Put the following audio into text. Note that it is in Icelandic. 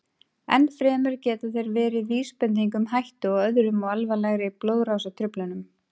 Enn fremur geta þeir verið vísbending um hættu á öðrum og alvarlegri blóðrásartruflunum.